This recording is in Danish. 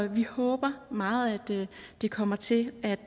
vi håber meget at det kommer til at